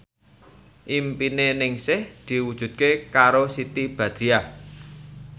impine Ningsih diwujudke karo Siti Badriah